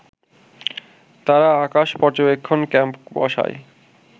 তারা আকাশ পর্যবেক্ষণ ক্যাম্প বসায়